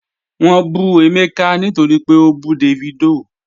Wọ́n bù Emeka nítorí pé ó bú Davido